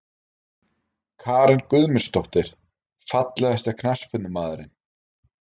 Karen Guðmundsdóttir Fallegasti knattspyrnumaðurinn?